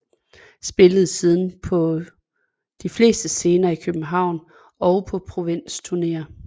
Spillede siden på de fleste scener i København og på provinsturnéer